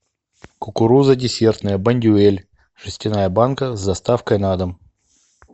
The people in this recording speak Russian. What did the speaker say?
кукуруза десертная бондюэль жестяная банка с доставкой на дом